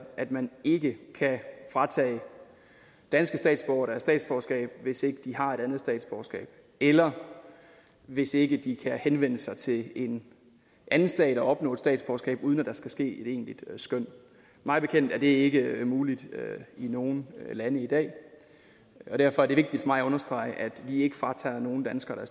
at man ikke kan fratage danske statsborgere deres statsborgerskab hvis ikke de har et andet statsborgerskab eller hvis ikke de kan henvende sig til en anden stat og opnå et statsborgerskab uden at der skal ske et egentligt skøn mig bekendt er det ikke muligt i nogen lande i dag derfor er det vigtigt for mig at understrege at vi ikke fratager nogen danskere